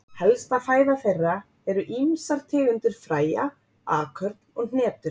Helsta fæða þeirra eru ýmsar tegundir fræja, akörn og hnetur.